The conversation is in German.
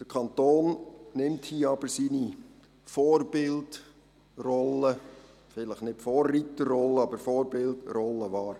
Der Kanton nimmt hier aber seine Vorbildrolle – vielleicht nicht seine Vorreiterrolle, aber seine Vorbildrolle – wahr.